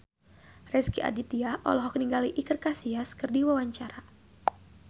Rezky Aditya olohok ningali Iker Casillas keur diwawancara